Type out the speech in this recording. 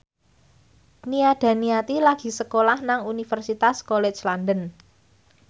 Nia Daniati lagi sekolah nang Universitas College London